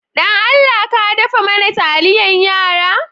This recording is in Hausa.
Dan Allah ka daffa mana taliyan yara?